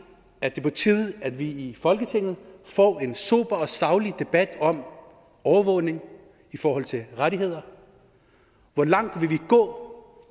at det er på tide at vi i folketinget får en sober og saglig debat om overvågning i forhold til rettigheder hvor langt vil vi gå